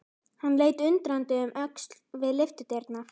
Hann leit undrandi um öxl við lyftudyrnar.